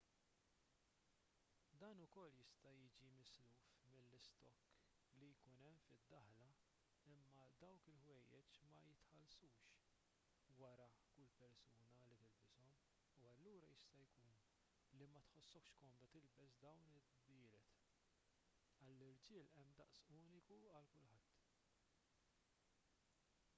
dan ukoll jista' jiġi misluf mill-istokk li jkun hemm fid-daħla imma dawk il-ħwejjeġ ma jinħaslux wara kull persuna li tilbishom u allura jista' jkun li ma tħossokx komda tilbes dawn id-dbielet għall-irġiel hemm daqs uniku għal kulħadd